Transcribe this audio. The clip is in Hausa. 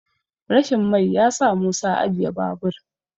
rashin mai ya sa musa ajiye babur